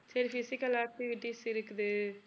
சரி physical activities இருக்குது